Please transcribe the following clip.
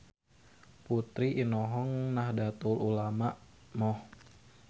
Putra inohong Nahdatul Ulama Moh.